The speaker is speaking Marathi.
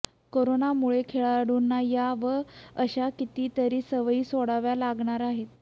करोनामुळे खेळाडूंना या व अशा कितीतरी सवयी सोडाव्या लागणार आहेत